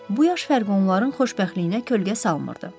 Bu yaş fərqi onların xoşbəxtliyinə kölgə salmırdı.